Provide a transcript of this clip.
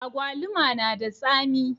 Agwaluma na da tsami